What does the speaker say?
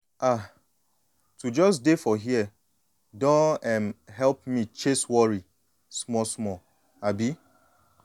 ah to just dey for here don um help me chase worry small-small. um